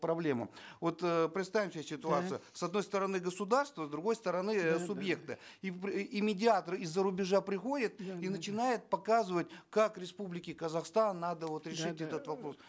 проблему вот эээ представим себе ситуацию с одной стороны государство с другой стороны э субъекты и медиатор из за рубежа приходит и начинает показывать как республике казахстан надо вот решить этот вопрос